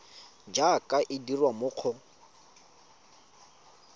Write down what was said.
jaaka e dirwa mo go